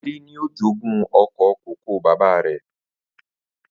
Adé ni ó jogún oko kòkó bàbá rè